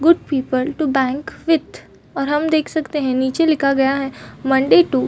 good people to bank with और हम देख सकते है की नीचे लिखा गया है मंडे टू --